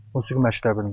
Musiqi işləyirdi.